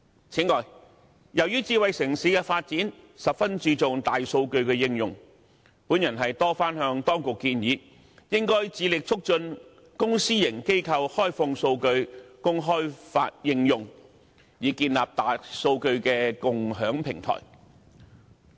此外，由於智慧城市的發展十分注重大數據的應用，我曾多番向當局建議，應該致力促進公私營機構開放數據供開發應用，以建立大數據的共享平台。